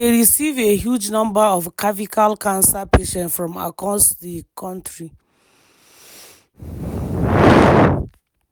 e dey receive a huge number of cervical cancer patients from across di kontri.